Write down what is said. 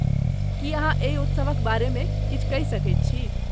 की अहाँ एहि उत्सवक बारेमे किछु कहि सकैत छी?